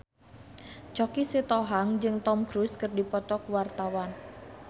Choky Sitohang jeung Tom Cruise keur dipoto ku wartawan